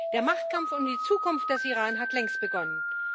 Der Machtkampf um die Zukunft des Iran hat längst begonnen.